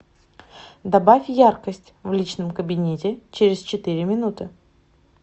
добавь яркость в личном кабинете через четыре минуты